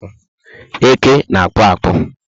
Eke ná akpu akpu